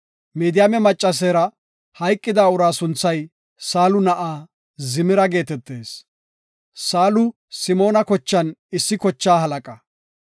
Midiyaame maccaseera hayqida uraa sunthay Saalu na7aa Zimira geetetees. Saalu Simoona kochan issi kochaa halaqa.